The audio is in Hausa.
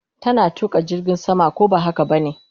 Tana tuka jirgin sama, ko ba haka bane?